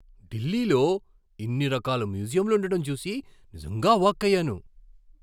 ఢిల్లీలో ఇన్ని రకాల మ్యూజియంలు ఉండటం చూసి నిజంగా అవాక్కయ్యాను.